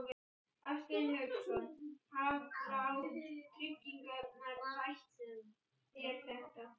Hafsteinn Hauksson: Hafa tryggingarnar bætt þér þetta?